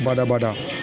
Badabada